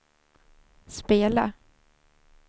spela